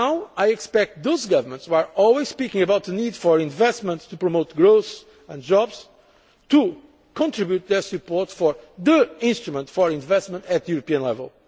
the MFF. I expect those governments which are always talking about the need for investment to promote growth and jobs to contribute their support for the instrument for investment at European